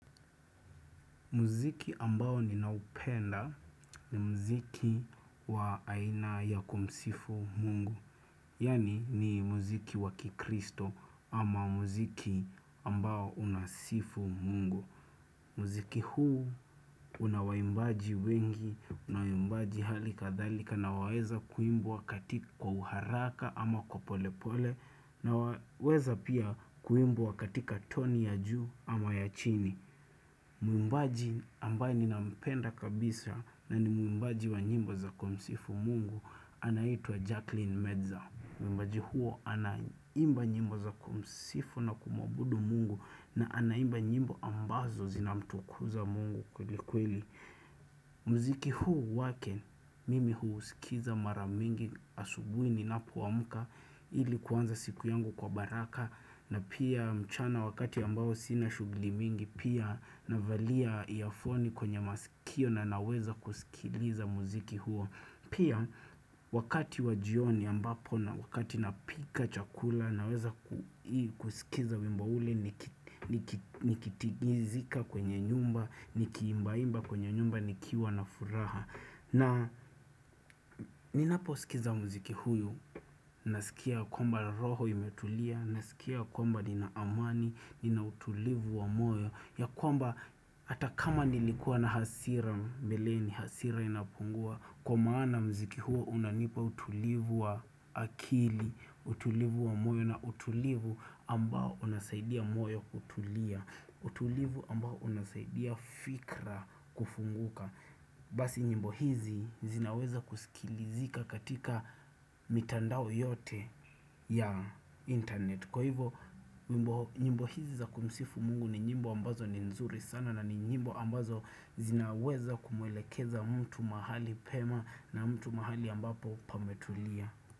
Muziki ambao ninaupenda ni muziki wa aina ya kumsifu Mungu. Yani ni muziki wakikristo ama muziki ambao unasifu Mungu. Muziki huu unawaimbaji wengi, unawaimbaji hali kadhalika na waweza kuimbwa katika kwa uharaka ama kwa polepole. Na waweza pia kuimbwa katika toni ya juu ama ya chini. Muimbaji ambaye nina mpenda kabisa na ni muimbaji wa nyimbo za kumsifu Mungu Anaitua Jacqueline Medza Muimbaji huyo anaimba nyimbo za kumsifu na kumuabudu Mungu na anaimba nyimbo ambazo zinamtukuza Mungu kweli kweli mziki huu wake mimi huu usikiza maramingi asubuhi ninapoamka ili kuanza siku yangu kwa baraka na pia mchana wakati ambao sina shughuli mingi Pia navalia iafoni kwenye masikio na naweza kusikiliza muziki huo Pia wakati wa jioni ambapo na wakati napika chakula naweza kusikiza wimbo ule Nikitigizika kwenye nyumba, nikiimba imba kwenye nyumba nikiwa na furaha na ninapo sikiza muziki huu, nasikia kwamba roho imetulia, nasikia kwamba ninaamani, ninautulivu wa moyo ya kwamba hata kama nilikuwa na hasira mbeleni, hasira inapungua Kwa maana mziki huu unanipa utulivu wa akili, utulivu wa moyo na utulivu ambao unasaidia moyo kutulia utulivu ambao unasaidia fikra kufunguka Basi nyimbo hizi zinaweza kusikilizika katika mitandao yote ya intaneti Kwa hivo nyimbo hizi za kumsifu Mungu ni nyimbo ambazo ni nzuri sana na nyimbo ambazo zinaweza kumwelekeza mtu mahali pema na mtu mahali ambapo pametulia.